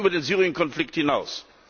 Das geht über den Syrien Konflikt hinaus.